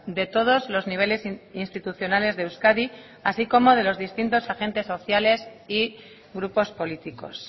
de todos los niveles institucionales de euskadi así como de los distintos agentes sociales y grupos políticos